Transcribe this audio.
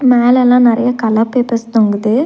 மேலல்லா நறைய colour papers தொங்குது.